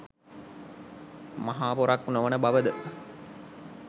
මහා පොරක් නොවන බවද?